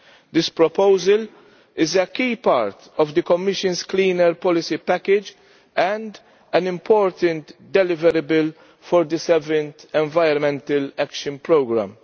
This proposal is a key part of the Commission's clean air policy package and an important deliverable for the 7th Environment Action Programme.